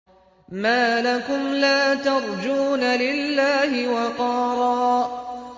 مَّا لَكُمْ لَا تَرْجُونَ لِلَّهِ وَقَارًا